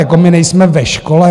Jako my nejsme ve škole.